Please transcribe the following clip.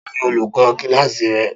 Ta ni olùkó kíláàsì rẹ